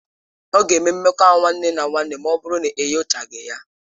Ọ ga-eme mmekọahụ nwanne na nwanne ma ọ bụrụ na enyochaghị ya.